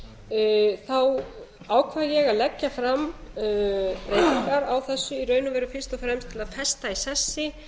vel þá ákvað ég að leggja fram breytingar á þessu í raun og veru fyrst og fremst til að festa í sessi